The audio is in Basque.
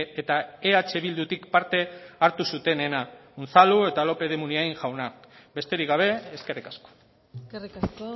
eta eh bildutik parte hartu zutenena unzalu eta lópez de munain jaunak besterik gabe eskerrik asko eskerrik asko